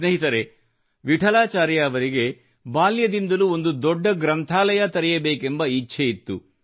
ಸ್ನೇಹಿತರೇ ವಿಠಲಾಚಾರ್ಯ ಅವರಿಗೆ ಬಾಲ್ಯದಿಂದಲೂ ಒಂದು ದೊಡ್ಡ ಗ್ರಂಥಾಲಯ ತೆರೆಯಬೇಕೆಂಬ ಇಚ್ಛೆಯಿತ್ತು